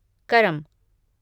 करम